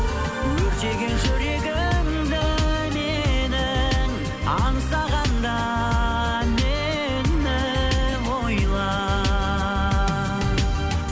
өртеген жүрегімді менің аңсағанда мені ойла